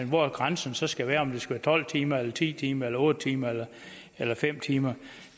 hvor grænsen så skal være om det skal være tolv timer eller ti timer eller otte timer eller fem timer